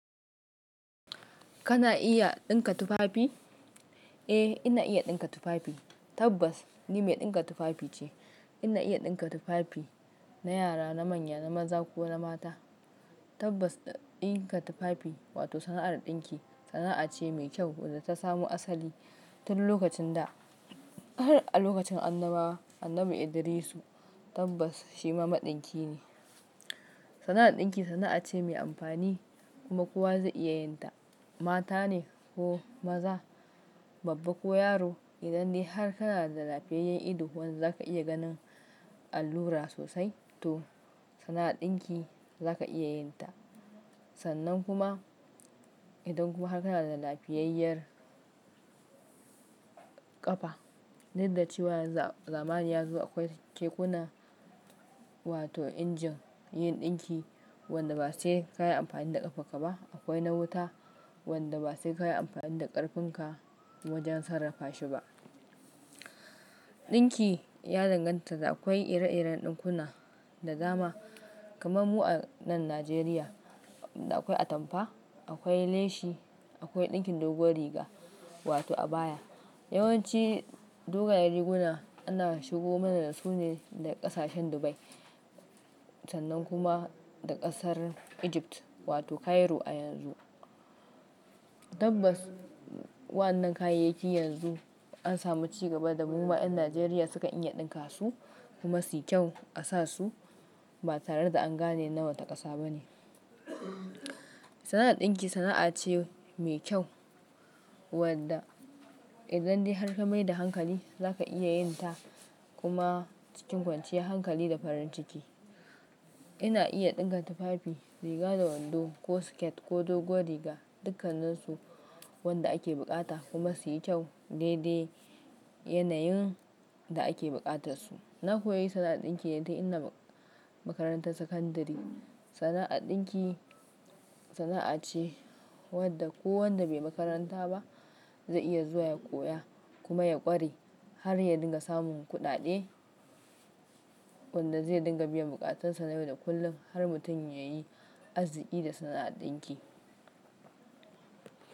Kana iya ɗinka tufafi? Eh, ina iya ɗinka tufafi. Tabbas ni mai ɗinka tufafi ce. Ina iya ɗinka tufafi na yara, na manya, na maza ko na mata. Tabbas ɗinka tufafi wato sana'ar ɗinki sana'a ce mai kyau wadda ta samu asali tun lokacin da har a lokacin Annabawa, Annabi Idrisu tabbas shi mamadinki ne. Sana'ar ɗinki sana'a ce mai amfani kuma kowa zai iya yin ta. Mata ne ko maza, babba ko yaro. Idan dai har kana da lafiyayyen ido wanda za ka iya ganin allura sosai to sana'ar ɗinki za ka iya yin ta. Sannan kuma idan kuma har kana da lafiyayyar ƙafa. Dik da cewa yanzu zamani ya zo akwai kekuna wato injin yin ɗinki wanda ba sai ka yi amfani da ƙafarka ba. Akwai na wuta wanda ba sai ka yi amfani da ƙarfin ka wajen sarrafa shi ba. Ɗinki ya danganta da akwai ire-iren ɗinkuna da dama. Kamar mu a nan Najeriya da akwai atamfa, akwai leshi, akwai ɗinkin doguwar riga wato abaya. Yawanci dogayen riguna ana shigo mana da su ne daga ƙasashen Dubai sannan kuma daga ƙasar Egypt wato Cairo a yanzu. Tabbas waɗannan kayayyaki yanzu an samu ci gaba da mu ma ƴan Najeriya sukan iya ɗinka su kuma su yi kyau a sa su ba tare da an gane na wata ƙasa ba ne. Sana'ar ɗinki sana'a ce mai kyau wadda idan dai har ka mai da hankali za ka iya yin ta kuma cikin kwanciyar hankali da farin ciki. Ina iya ɗinka tufafi, riga da wando ko siket ko doguwar riga dukkanninsu wanda ake bukata kuma su yi kyau dai dai yanayin da ake bukatarsu. Na koyi sana'ar ɗinki tun ina makarantar sakandare. Sana'ar ɗinki sana'a ce wadda kowanda bai makaranta ba zai iya zuwa ya koya kuma ya ƙware har ya dinga samun kuɗaɗe wanda zai dinga biyan bukatansa yau da kullum har mutum ya yi arziki da sana'ar ɗinki.